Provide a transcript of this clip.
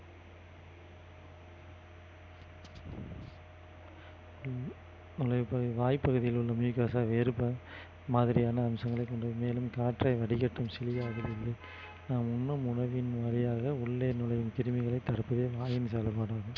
வாய்ப்பகுதியில் உள்ள மாதிரியான அம்சங்களை கொண்டது மேலும் காற்றை வடிகட்டும் நாம் உண்ணும் உணவின் வழியாக உள்ளே நுழையும் கிருமிகளை தடுப்பதே வாயின் செயல்பாடாகும்